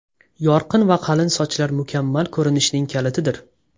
Yorqin va qalin sochlar mukammal ko‘rinishning kalitidir.